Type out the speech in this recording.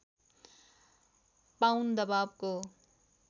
pound दबावको